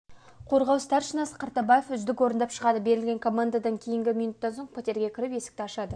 қорғау старшинасы қартабаев үздік орындап шығады берілген командадан кейін минуттан соң пәтерге кіріп есікті ашады